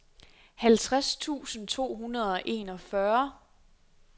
halvtreds tusind to hundrede og enogfyrre